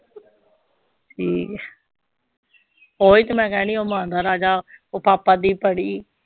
ਠੀਕ ਹੈ ਉਹੀ ਤੇ ਮੈਂ ਕਹਿਨੀ ਉਹ ਮਾਂ ਦਾ ਰਾਜਾ, ਉਹ ਪਾਪਾ ਦੀ ਪਰੀ।